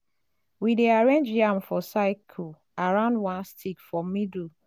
we dey arrange yam for cycle around one stick for middle